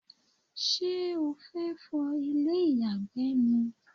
ṣé o fẹ́ fọ ilé ìyàgbẹ́ ni?